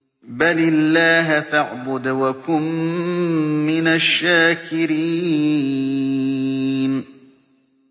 بَلِ اللَّهَ فَاعْبُدْ وَكُن مِّنَ الشَّاكِرِينَ